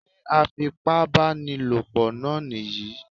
Sé afipábánilòpọ náà nìyí?